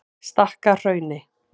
Stakkahrauni